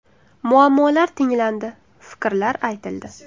Muammolar tinglandi, fikrlar aytildi.